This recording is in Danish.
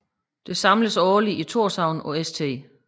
Det samledes årligt i Thorshavn på St